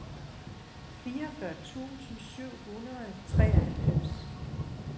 fireogfyrre tusind syv hundrede og treoghalvfems